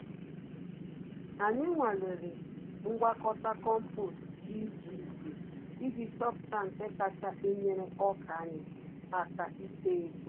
Anyị nwalere ngwakọta kompost dị iche iche iji chọpụta nke kacha enyere ọkà anyị àkà ito-eto